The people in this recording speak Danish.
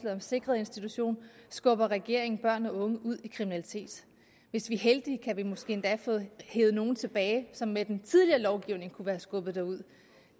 om sikrede institutioner skubber regeringen børn og unge ud i kriminalitet hvis vi er heldige kan vi måske endda få hevet nogle tilbage som med den tidligere lovgivning kunne være skubbet derud